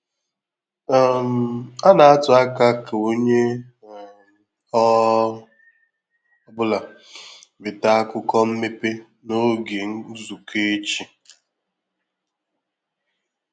um A na-atụ anya ka onye um ọ um bụla weta akụkọ mmepe n'oge nzukọ echi.